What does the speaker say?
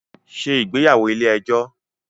Ṣé ìgbéyàwó ilé ẹjọ́